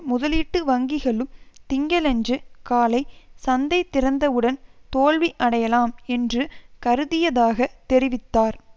முதலீட்டு வங்கிகளும் திங்களன்று காலை சந்தை திறந்தவுடன் தோல்வி அடையலாம் என்று கருதியதாக தெரிவித்தார்